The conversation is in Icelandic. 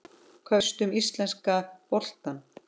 Hvað veistu um íslenska boltann?